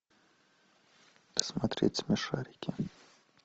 смотреть смешарики